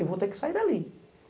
Eu vou ter que sair dali.